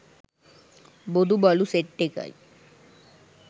බොදු බලු සෙට් එකයි